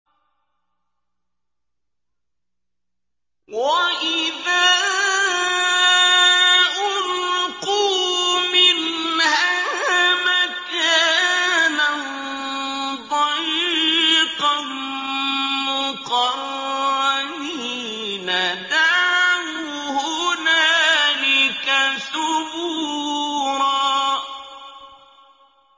وَإِذَا أُلْقُوا مِنْهَا مَكَانًا ضَيِّقًا مُّقَرَّنِينَ دَعَوْا هُنَالِكَ ثُبُورًا